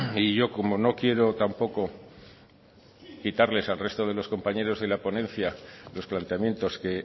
y yo como no quiero tampoco quitarles al resto de los compañeros de la ponencia los planteamientos que